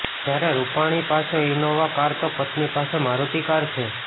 જ્યારે રૂપાણી પાસે Innova car તો પત્ની પાસે મારૂતિ કાર છે